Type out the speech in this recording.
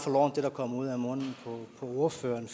og det der kommer ud af munden på ordføreren